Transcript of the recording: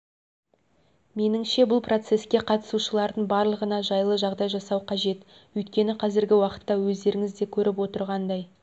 меніңше бұл процеске қатысушылардың барлығына жайлы жағдай жасау қажет өйткені қазіргі уақытта өздеріңіз де көріп отырғандай